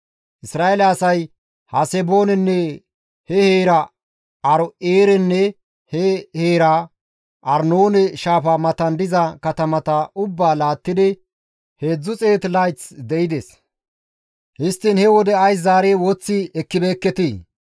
Isra7eele asay Haseboonenne he heera, Aaro7eerenne he heera, Arnoone shaafa matan diza katamata ubbaa laattidi 300 layth de7ides; histtiin he wode ays zaari woththi ekkibeekketii?